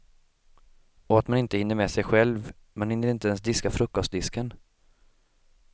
Och att man inte hinner med sig själv, man hinner inte ens diska frukostdisken.